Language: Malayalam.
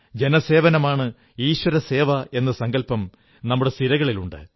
ജനസേവനമാണ് ഈശ്വരസേവ എന്ന സങ്കല്പം നമ്മുടെ സിരകളിലുണ്ട്